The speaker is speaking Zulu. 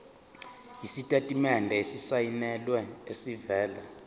isitatimende esisayinelwe esivela